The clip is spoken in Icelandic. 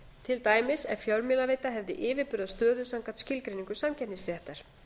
til dæmis ef fjölmiðlaveita hefði yfirburðastöðu samkvæmt skilgreiningu samkeppnisréttar